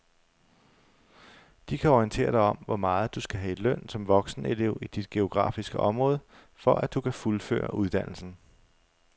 De kan orientere dig om hvor meget du skal have i løn som voksenelev i dit geografiske område, for at du kan fuldføre uddannelsen.